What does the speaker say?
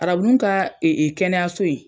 Arabunun ka kɛnɛyaso in.